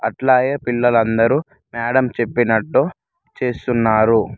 అట్లాగే పిల్లలు అందరు మేడం చెప్పినట్టు చేస్తున్నారు.